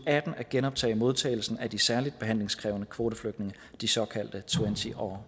og atten at genoptage modtagelsen af de særlig behandlingskrævende kvoteflygtninge de såkaldte twenty or